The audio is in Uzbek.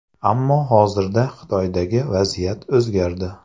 Ammo hozirda Xitoydagi vaziyat o‘zgardi.